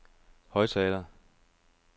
højttaler